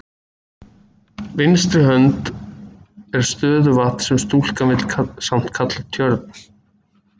vinstri hönd er stöðuvatn sem stúlkan vill samt kalla tjörn.